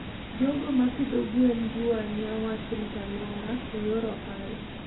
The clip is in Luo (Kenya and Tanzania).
jogo ma pidho gwen jiwo ahinya wach rito alwora e yor ohala.